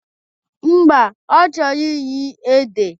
Mba, ọ chọrọ iri ede